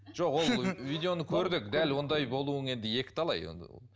жоқ ол видеоны көрдік дәл ондай болуың енді екіталай